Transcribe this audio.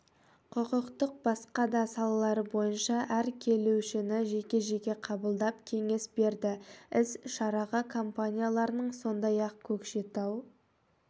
құқықтың басқа да салалары бойынша әр келушіні жеке-жеке қабылдап кеңес берді іс-шараға компанияларының сондай-ақ көкшетау